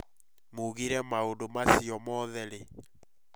Mũgire maũndũ macio mothe rĩ?